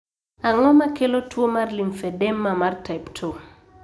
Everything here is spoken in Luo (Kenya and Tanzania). Ang'o makelo tuo mar lymphedema mar type II?